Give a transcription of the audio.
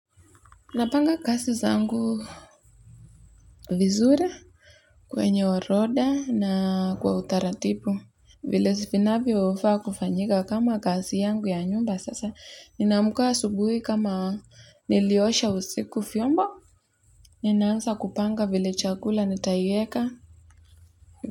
Napanga kazi zangu vizuri kwenye orodha na kwa utaratibu. Vile vinavyofaa kufanyika kama kazi yangu ya nyumba sasa. Ninamka asubuhi kama niliosha usiku vyombo. Ninaanza kupanga vile chakula nitaieka.